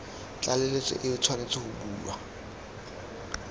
tlaleletso e tshwanetse go bulwa